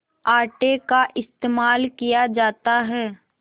आटे का इस्तेमाल किया जाता है